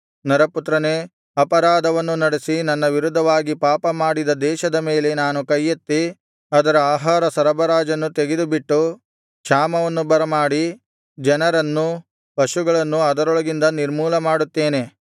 ನರಪುತ್ರನೇ ಅಪರಾಧವನ್ನು ನಡೆಸಿ ನನ್ನ ವಿರುದ್ಧವಾಗಿ ಪಾಪಮಾಡಿದ ದೇಶದ ಮೇಲೆ ನಾನು ಕೈಯೆತ್ತಿ ಅದರ ಆಹಾರ ಸರಬರಾಜನ್ನು ತೆಗೆದುಬಿಟ್ಟು ಕ್ಷಾಮವನ್ನು ಬರಮಾಡಿ ಜನರನ್ನು ಪಶುಗಳನ್ನು ಅದರೊಳಗಿಂದ ನಿರ್ಮೂಲ ಮಾಡುತ್ತೇನೆ